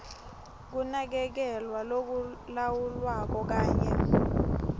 kunakekelwa lokulawulwako kanye